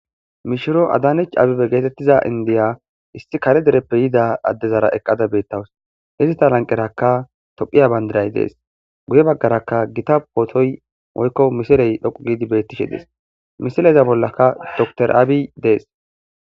Mishiro adanich abibe geetettiza indiya issi kare dereppe yida addezara eqqada beettawus hizita lanqeraka tophiya bayndiray dees buye baggaraka gita pootoy moykko misiley dhoqu giidi bettishe dies misileza bollaka doctr aabi dees